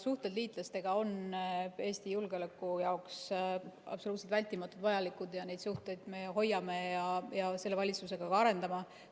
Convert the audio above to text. Suhted liitlastega on Eesti julgeoleku jaoks absoluutselt vältimatult vajalikud, neid suhteid me hoiame ja selle valitsusega ka arendame.